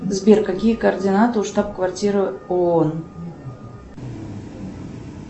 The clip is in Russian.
сбер какие координаты у штаб квартиры оон